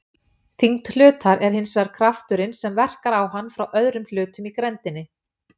Þyngd hlutar er hins vegar krafturinn sem verkar á hann frá öðrum hlutum í grenndinni.